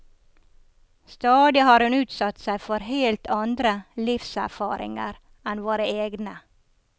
Stadig har hun utsatt seg for helt andre livserfaringer enn våre egne.